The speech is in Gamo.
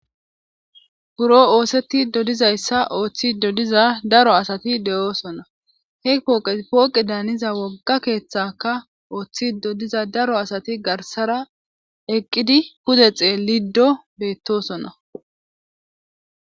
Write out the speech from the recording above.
Buro oosetido dizayssa ooththido diza daro asati de'oosona he pooqey pooqedaaniza wogga keeththekka ooththido diza daro asati garssara eqqidii pude xeeliddo beettosona